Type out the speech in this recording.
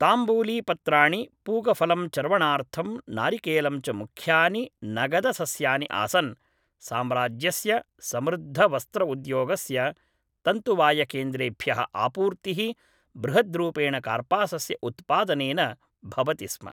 ताम्बूलीपत्राणि पूगफलं चर्वणार्थं नारिकेलं च मुख्यानि नगदसस्यानि आसन् साम्राज्यस्य समृद्धवस्त्र उद्योगस्य तन्तुवायकेन्द्रेभ्यः आपूर्तिः बृहद्रूपेण कार्पासस्य उत्पादनेन भवति स्म